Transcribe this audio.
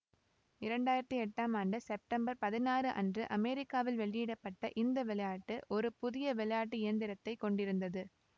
இரண்டு ஆயிரத்தி எட்டாம் ஆண்டு செப்டம்பர் பதினாறு அன்று அமெரிக்காவில் வெளியிட பட்ட இந்த விளையாட்டு ஒரு புதிய விளையாட்டு இயந்திரத்தை கொண்டிருந்தது